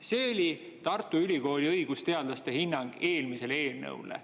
" See oli Tartu Ülikooli õigusteadlaste hinnang eelmisele eelnõule.